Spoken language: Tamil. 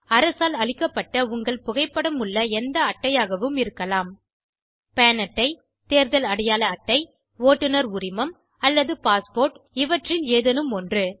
அரசால் அளிக்கப்பட்ட உங்கள் புகைப்படம் உள்ள எந்த அட்டையாகவும் இருக்கலாம்160 பான் அட்டை தேர்தல் அடையாள அட்டை ஓட்டுநர் உரிமம் அல்லது பாஸ்போர்ட் இவற்றில் ஏதேனும் ஒன்று